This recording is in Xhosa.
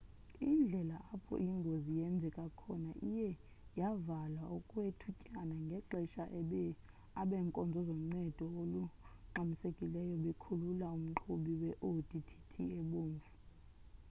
indlela apho ingozi yenzeke khona iye yavalwa okwethutyana ngexesha abeenkonzo zoncedo olungxamisekileyo bekhulula umqhubi kwi-audi tt ebomvu